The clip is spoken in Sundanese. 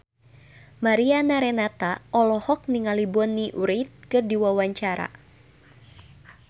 Mariana Renata olohok ningali Bonnie Wright keur diwawancara